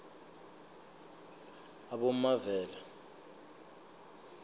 abomavela